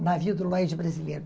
O navio do Lloyd brasileiro.